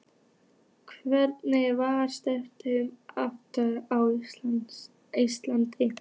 Hvenær var seinasta aftakan á Íslandi?